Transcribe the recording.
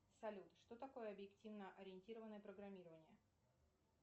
салют что такое объективно ориентированное программирование